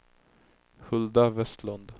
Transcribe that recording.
Hulda Vestlund